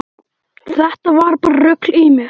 Þetta var bara rugl í mér.